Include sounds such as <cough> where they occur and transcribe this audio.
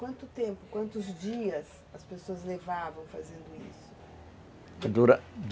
Quanto tempo, quantos dias as pessoas levavam fazendo isso? Dura <unintelligible>